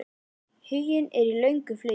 Huginn er í löngu flugi.